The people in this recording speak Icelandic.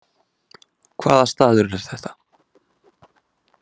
Hvaða staður er þetta